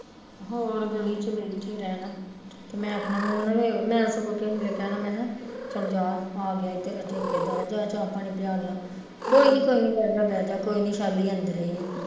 ਹੋਰ ਗਲੀ ਚ ਬੈਠੇ ਰਹਿਣਾ, ਮੈਂ ਆਖਣਾ ਮੈਂ ਸਗੋਂ ਕਿਸੇ ਵੇਲੇ ਕਹਿਣਾ ਚੱਲ ਜਾ ਆਗਿਆ ਈ ਤੇਰਾ ਠੇਕੇਦਾਰ ਜਾਂ ਚਾਹ ਪਾਣੀ ਪਿਆਲ ਲਾ, ਕੋਈ ਨੀ ਕੋਈ ਨੀ ਬਹਿਜਾ ਬਹਿਜਾ ਕੋਈ ਨੀ ਵੈਸ਼ਾਲੀ ਅੰਦਰ ਈ ਆ